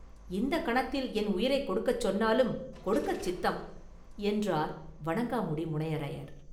இந்தக் கணத்தில் என் உயிரைக் கொடுக்கச் சொன்னாலும் கொடுக்கச் சித்தம்!” என்றார் வணங்காமுடி முனையரையர்.